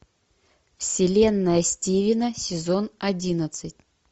вселенная стивена сезон одиннадцать